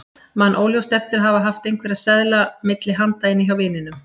Man óljóst eftir að hafa haft einhverja seðla milli handa inni hjá vininum.